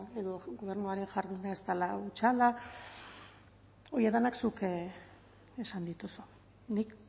edo gobernuaren jarduna ez dela hutsala horiek denak zuk esan dituzu nik